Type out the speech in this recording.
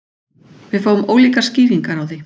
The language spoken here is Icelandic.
Við fáum ólíkar skýringar á því